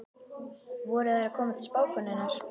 Voru þær að koma til spákonunnar?